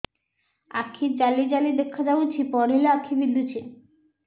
ଆଖି ଜାଲି ଜାଲି ଦେଖାଯାଉଛି ପଢିଲେ ଆଖି ବିନ୍ଧୁଛି